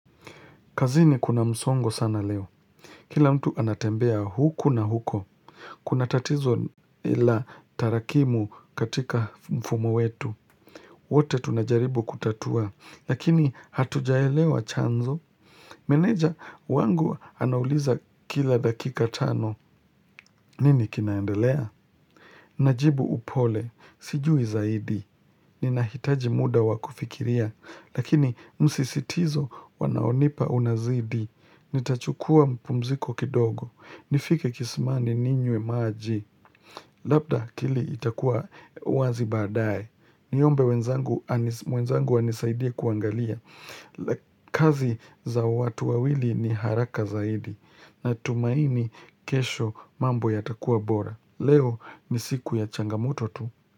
Kazini kuna msongo sana leo. Kila mtu anatembea huku na huko. Kuna tatizo ila tarakimu katika mfumo wetu. Wote tunajaribu kutatua. Lakini hatujaelewa chanzo. Meneja wangu anauliza kila dakika tano. Nini kinaendelea? Najibu upole, sijui zaidi, ninahitaji mda wa kufikiria, lakini msisitizo wanaonipa unazidi, nitachukua mpumziko kidogo, nifike kisimani ninywe maji, labda kile itakuwa wazi badaye, niombe wenzangu wenzangu wanisaidie kuangalia. Kazi za watu wawili ni haraka zaidi Natumaini kesho mambo yatakua bora Leo ni siku ya changamoto tu.